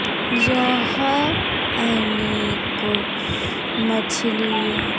य हा अने को मछलिया।